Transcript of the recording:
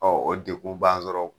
o dekun b'an sɔrɔ.